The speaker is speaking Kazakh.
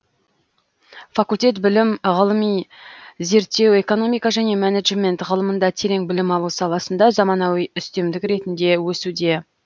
факультет білім ғылыми зерттеу экономика және менеджмент ғылымында терең білім алу саласында заманауи үстемдік ретінде өсуде